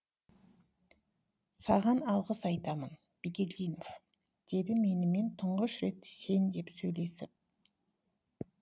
саған алғыс айтамын бигелдинов деді менімен тұңғыш рет сен деп сөйлесіп